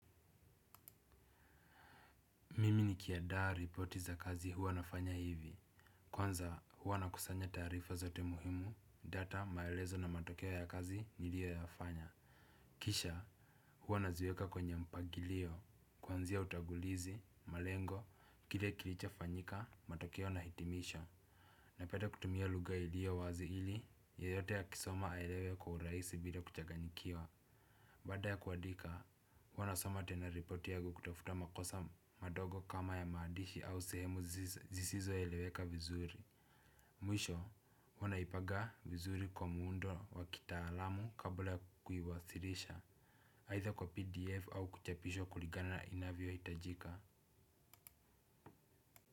Mimi nikiandaa ripoti za kazi huwa nafanya hivi. Kwanza hua nakusanya taarifa zote muhimu, data, maelezo na matokeo ya kazi niliyoyafanya. Kisha hua naziweka kwenye mpangilio, kuanzia utangulizi, malengo, kile kilichofanyika, matokeo na hitimisho. Napenda kutumia lugha ilio wazi ili yoyote akisoma aelewe kwa urahisi bila kuchaganyikiwa. Baada ya kuandika, huwa nasoma tena ripoti yangu kutafuta makosa madogo kama ya maandishi au sehemu zisizoeleweka vizuri. Mwisho, huwa naipanga vizuri kwa muundo wa kitaalamu kabla kuiwasilisha, aidha kwa pdf au kuchapisha kulingana na inavyohitajika.